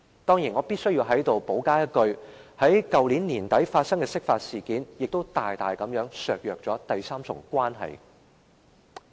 當然，我在此必須補充一句，去年年底發生的釋法事件亦大大削弱了第三重關係。